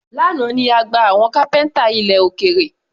Lánàá ni a gba àwọn kápẹ́ńtà ilẹ̀ òkèrè.